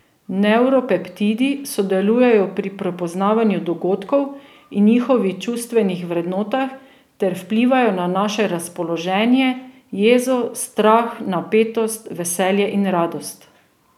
Nevropeptidi sodelujejo pri prepoznavanju dogodkov in njihovih čustvenih vrednotah ter vplivajo na naše razpoloženje, jezo, strah, napetost, veselje in radost.